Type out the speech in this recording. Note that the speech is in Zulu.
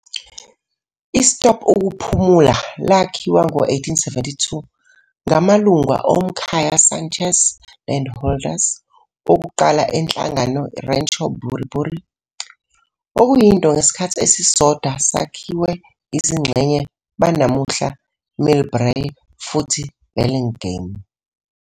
I stop ukuphumula lakhiwa ngo-1872 ngu-amalungu omkhaya Sánchez, landholders okuqala eNhlangano Rancho Buri Buri, okuyinto ngesikhathi esisodwa sakhiwe izingxenye banamuhla Millbrae futhi Burlingame.